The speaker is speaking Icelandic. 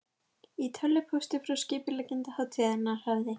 Í tölvupósti frá skipuleggjanda hátíðarinnar hafði